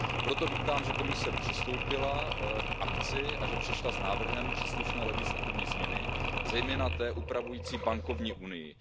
Proto vítám, že Komise přistoupila k akci a že přišla s návrhem příslušné legislativní změny, zejména té upravující bankovní unii.